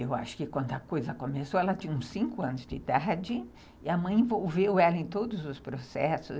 Eu acho que, quando a coisa começou, ela tinha uns cinco anos de idade e a mãe a envolveu ela em todos os processos.